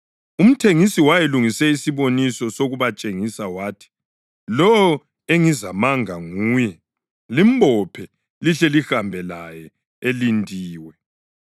Umthengisi wayelungise isiboniso sokubatshengisa wathi: “Lowo engizamanga nguye; limbophe lihle lihambe laye elindiwe.”